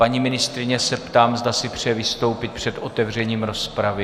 Paní ministryně se ptám, zda si přeje vystoupit před otevřením rozpravy.